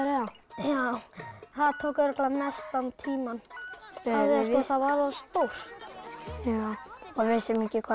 áðan það tók örugglega mestan tímann það var of stórt já við vissum ekki hvað